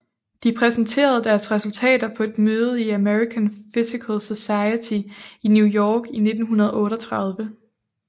De præsenterede deres resultater på et møde i American Physical Society i New York i 1938